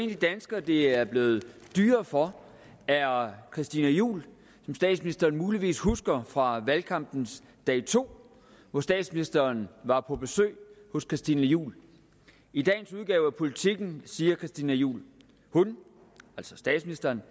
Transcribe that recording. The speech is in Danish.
de danskere det er blevet dyrere for er christina juhl som statsministeren muligvis husker fra valgkampens dag to hvor statsministeren var på besøg hos christina juhl i dagens udgave af politiken siger christina juhl hun altså statsministeren